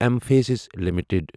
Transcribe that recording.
M فاسِس limited